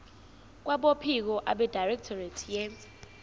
kwabophiko abedirectorate ye